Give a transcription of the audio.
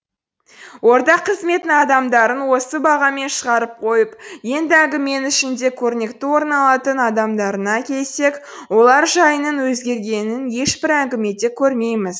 орта қызметтің адамдарын осы бағамен шығарып қойып енді әңгіменің ішінде көрнекті орын алатын адамдарына келсек олар жайының өзгергенін ешбір әңгімеде көрмейміз